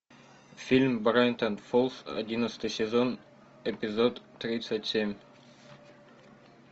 фильм брайтон фолз одиннадцатый сезон эпизод тридцать семь